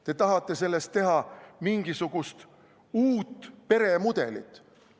Te tahate sellest teha mingisugust uut peremudelit.